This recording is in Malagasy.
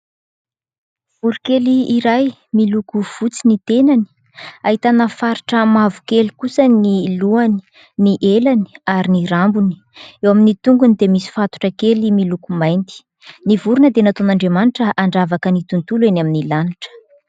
Voro_kely iray miloko fotsy ny tenany, ahitana faritra mavokely kosa ny lohany, ny elany ary ny rambony. Eo amin'ny tongony dia misy fatotra kely miloko mainty. Ny vorona dia nataon'Andriamanitra handravaka ny tontolo eny amin'ny lanitra.